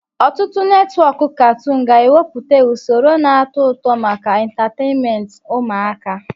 Ọtụtụ netwọk katoon ga-ewepụta usoro na-atọ ụtọ maka entatènméntị ụmụaka